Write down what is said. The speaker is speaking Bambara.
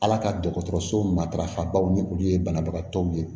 Ala ka dɔgɔtɔrɔso matarafa baw ni olu ye banabagatɔw ye